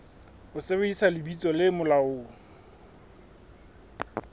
ho sebedisa lebitso le molaong